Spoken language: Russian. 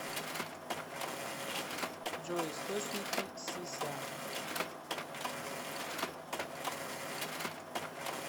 джой источники си ся